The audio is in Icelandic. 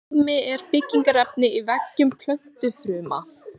Beðmi er byggingarefni í veggjum plöntufruma.